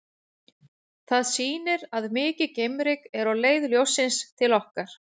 Það sýnir að mikið geimryk er á leið ljóssins til okkar.